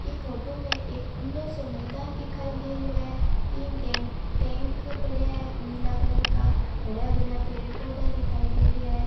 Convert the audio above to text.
यह फोटो में एक खुला मैदान सो दिखाई दे रहो है तीन टेक भी पड़े है नीले कलर का हारा भरा पेड़ पोधा दिखाई दे रहा है।